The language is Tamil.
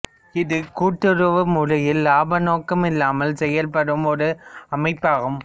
இது கூட்டுறவு முறையில் லாப நோக்கமில்லாமல் செயல்படும் ஒரு அமைப்பாகும்